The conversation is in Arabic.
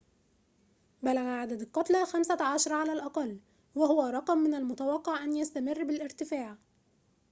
بلغ عدد القتلى 15 على الأقل وهو رقم من المتوقع أن يستمر بالارتفاع